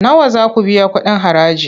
Nawa za ku biya kuɗin haraji?